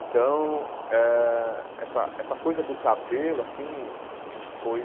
Então, eh essa essa coisa do cabelo, assim, foi...